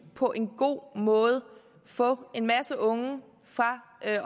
på en god måde kan få en masse unge fra